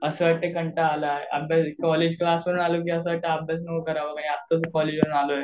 असं वाटतंय कंटाळा आलाय कॉलेज क्लास वरून आलो की असं वाटतं की आत्ताच तर कॉलेजवरून आलोय.